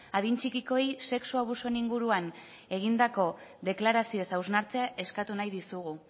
adin txikikoei sexu abusuen inguruan egindako deklarazioez hausnartzea eskatu nahi dizugu